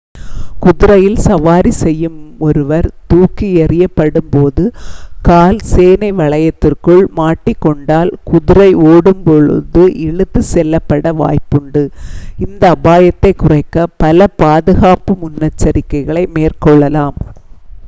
குதிரையில் சவாரி செய்யும் ஒருவர் தூக்கி எறியப்படும் போது கால் சேணை வளையத்திற்குள் மாட்டிக்கொண்டால் குதிரை ஓடும் போது இழுத்துச் செல்லப்பட வாய்ப்புண்டு இந்த அபாயத்தைக் குறைக்க பல பாதுகாப்பு முன்னெச்செரிக்கைகளை மேற்கொள்ளலாம்